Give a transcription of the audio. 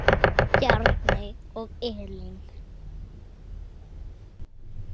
Bjarni og Elín.